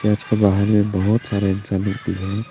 इसके बाहर में बहुत सारे इंसान लोग भी हैं।